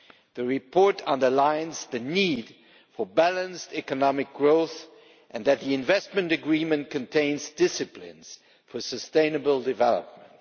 The report underlines the need for balanced economic growth and the fact that the investment agreement contains disciplines for sustainable development.